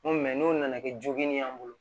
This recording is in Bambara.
N ko n'o nana kɛ jogini ye an bolo